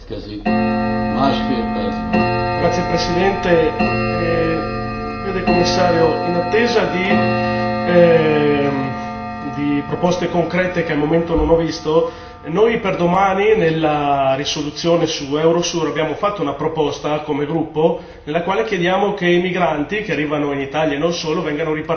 Signor Presidente, onorevoli colleghi, vede Commissario, in attesa di proposte concrete che al momento non ho visto, noi per domani nella risoluzione su Eurosur, abbiamo fatto una proposta, come gruppo, nella quale chiediamo che i migranti che arrivano in Italia e non solo, vengano ripartiti per i 28 paesi.